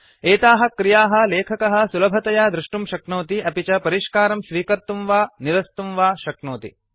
एताः क्रियाः लेखकः सुलभतया दृष्टुं शक्नोति अपि च परिष्कारं स्वीकर्तुं वा निरस्तुं वा शक्नोति